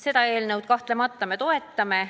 Seda eelnõu me kahtlemata toetame.